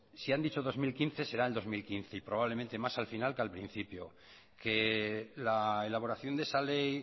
si han dicho dos mil quince será en dos mil quince y probablemente más al final que al principio que la elaboración de esa ley